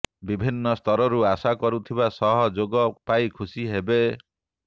ବିଭିନ୍ନ ସ୍ତରରୁ ଆଶା କରୁଥିବା ସହ ଯୋଗ ପାଇ ଖୁସି ହେବେ